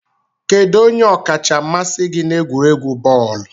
Kedu onye ọkacha mmasị gị n'egwuregwu bọọlụ?